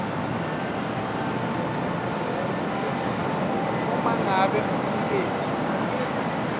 uma ngabe umnikeli